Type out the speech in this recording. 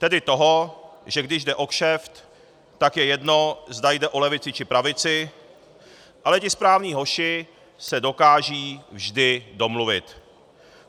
Tedy toho, že když jde o kšeft, tak je jedno, zda jde o levici, či pravici, ale ti správní hoši se dokážou vždy domluvit.